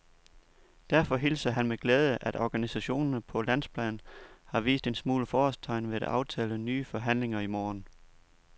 Derfor hilser han med glæde, at organisationerne på landsplan har vist en smule forårstegn ved at aftale nye forhandlinger i morgen.